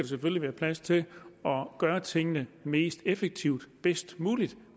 selvfølgelig være plads til at gøre tingene mest effektivt og bedst muligt